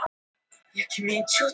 Það var upptekið.